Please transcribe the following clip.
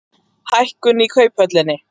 Hækkun í Kauphöllinni